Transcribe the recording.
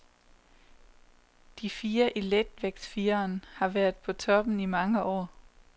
De fire i letvægtsfireren har været på toppen i mange år.